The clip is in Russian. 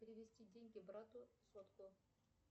перевести деньги брату сотку